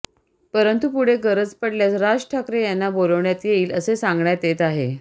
परंतु पुढे गरज पडल्यास राज ठाकरे यांना बोलावण्यात येईल असे सांगण्यात येत आहे